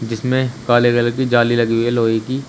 इसमें काले कलर की जाली लगी है लोहे की।